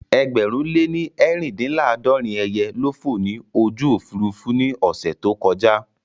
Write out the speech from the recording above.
Ẹgbẹ̀rún lè ní eerindinlaadorin ẹyẹ ló fò ní ojú Òfurufú ní ọ̀sẹ̀ tí ó kọjà